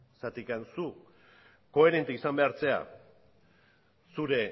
zu koherente izan behar zara zure